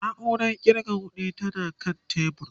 nauran ƙirga ƙuɗi tana kan tebur